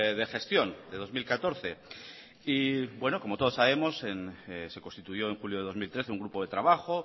de gestión de dos mil catorce y como todos sabemos se constituyó en julio de dos mil trece un grupo de trabajo